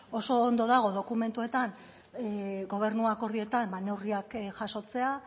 oso ondo dago dokumentuetan gobernu akordioetan neurriak jasotzea